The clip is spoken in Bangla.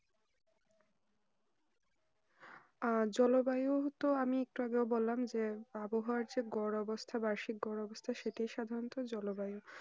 আহ জলবায়ু তো আমি একটু আগে বললাম যে আবহাওয়া যে গড় অবস্থান বার্ষিক গড় অবস্থা সেটি সাধারণত জলবায়ু